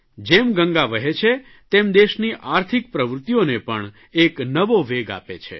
જેમ ગંગા વહે છે તેમ દેશની આર્થિક પ્રવૃત્તિઓને પણ એક નવો વેગ આપે છે